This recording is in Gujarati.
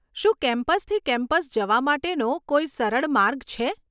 શું કેમ્પસથી કેમ્પસ જવા માટેનો કોઈ સરળ માર્ગ છે?